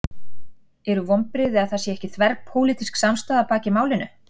Eru vonbrigði að það sé ekki þverpólitísk samstaða að baki málinu?